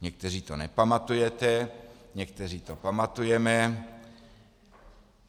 Někteří to nepamatujete, někteří to pamatujeme.